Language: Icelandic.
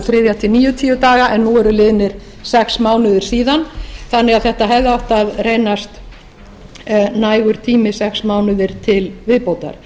þriðja til níutíu daga en nú eru liðnir sex mánuðir síðan þannig að þetta hefði átt að reynast nægur tími sex mánuðir til viðbótar